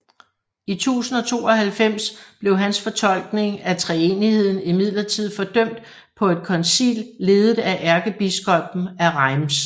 I 1092 blev hans fortolkning af treenigheden imidlertid fordømt på et koncil ledet af ærkebiskoppen af Reims